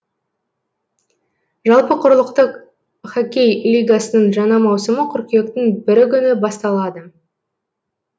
жалпы құрлықтық хоккей лигасының жаңа маусымы қыркүйектің бірі күні басталады